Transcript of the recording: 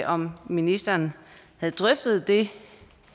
om ministeren havde drøftet det